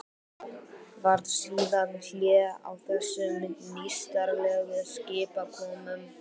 Varð síðan hlé á þessum nýstárlegu skipakomum.